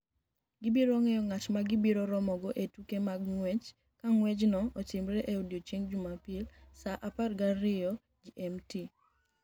Gibiro ng’eyo ng’at ma gibiro romogo e tuke mag ng’wech ka ng’wechno otimre e odiechieng’ Jumapil saa 12:00 GMT.